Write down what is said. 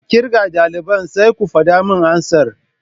Ki kirga daliban sai ku fada min amsar.